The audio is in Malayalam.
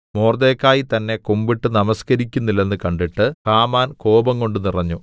മൊർദെഖായി തന്നെ കുമ്പിട്ട് നമസ്കരിക്കുന്നില്ലെന്ന് കണ്ടിട്ട് ഹാമാൻ കോപംകൊണ്ട് നിറഞ്ഞു